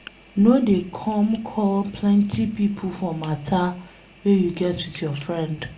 No dey come call plenty pipo for matter wey you get with your friend.